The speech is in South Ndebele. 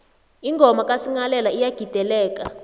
ingoma kasinghalela iyagideleka